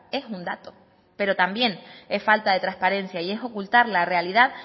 es un dato pero también es falta de transparencia y es ocultar la realidad